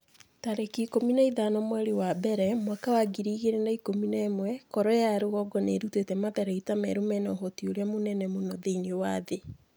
tarĩki ikũmi na ithano mweri wa mbere mwaka wa ngiri igĩrĩ na ikũmi na ĩmwe Korea ya rũgongo nĩ ĩrutĩte matharaita merũ mena ũhoti ũrĩa mũnene mũno thĩinĩ wa thĩ.'